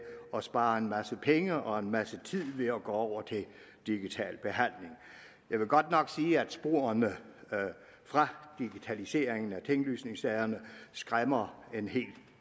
at spare en masse penge og en masse tid ved at gå over til digital behandling jeg vil godt nok sige at sporene fra digitaliseringen af tinglysningssagerne skræmmer en hel